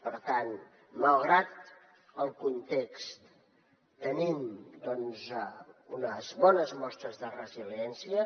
per tant malgrat el context tenim unes bones mostres de resiliència